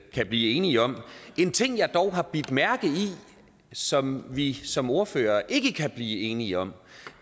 kan blive enige om en ting jeg dog har bidt mærke i og som vi som ordførere ikke kan blive enige om